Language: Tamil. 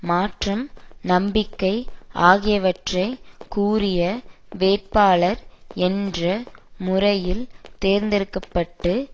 மாற்றம் நம்பிக்கை ஆகியவற்றை கூறிய வேட்பாளர் என்ற முறையில் தேர்ந்தெடுக்க பட்டு